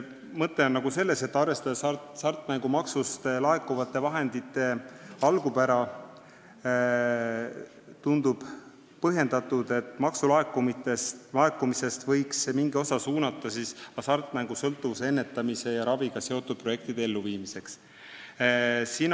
Mõte on selles, et arvestades hasartmängumaksust laekuvate vahendite algupära, tundub põhjendatud, et maksulaekumisest võiks mingi osa suunata hasartmängusõltuvuse ennetamise ja raviga seotud projektide elluviimiseks.